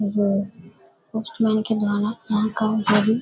वो पोस्टमैन के द्वारा --